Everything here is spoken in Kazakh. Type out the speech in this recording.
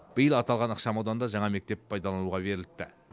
биыл аталған ықшамауданда жаңа мектеп пайдалануға беріліпті